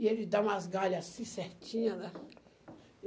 E ele dá umas galhas assim certinhas, né?